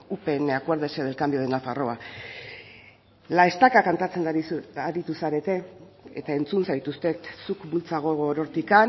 upn acuérdese del cambio de nafarroa la estaca kantatzen aritu zarete eta entzun zaituztet zuk bultza gogor hortik